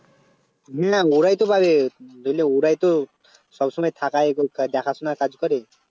ওরাইতো পাবে ধরেলে ওরাইতো সবসময় থাকায় বা দেখাশোনার কাজ করে